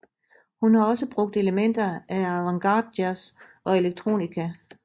Hun har også brugt elementer af avantgardejazz og electronica